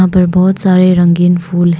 बहुत सारे रंगीन फूल है।